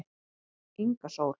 Inga Sól